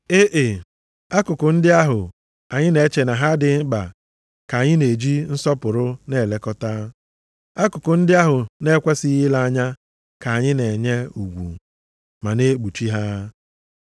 E e, akụkụ ndị ahụ anyị na-eche na ha adịghị mkpa ka anyị na-eji nsọpụrụ na-elekọta. Akụkụ ndị ahụ na-ekwesighị ile anya ka anyị na-enye ugwu, ma na-ekpuchi ha.